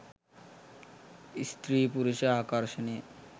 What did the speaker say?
ස්ත්‍රී පුරුෂ ආකර්ෂණය